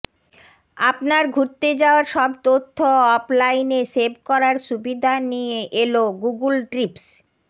আপনার ঘুরতে যাওয়ার সব তথ্য অফলাইনে সেভ করার সুবিধা নিয়ে এলো গুগল ট্রিপস